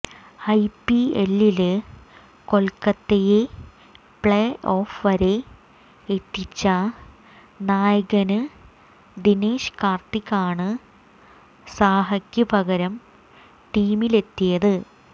ഐപിഎല്ലില് കൊല്ക്കത്തയെ play off വരെ എത്തിച്ച നായകന് ദിനേശ് കാര്ത്തിക്കാണ് സാഹയ്ക്ക് പകരം ടീമിലെത്തിയത്